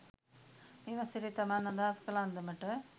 මේ වසරේ තමන් අදහස් කළ අන්දමට